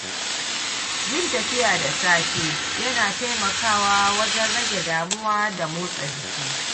Yin tafiya da safe yana taimakawa wajen rage damuwa da motsa jiki.